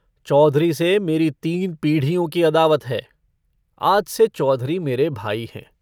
चौधरी से मेरी तीन पीढ़ियों की अदावत है आज से चौधरी मेरे भाई हैं।